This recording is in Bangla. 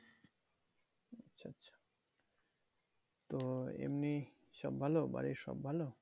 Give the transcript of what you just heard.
তো এমনি সব ভালো বাড়ির সব ভালো?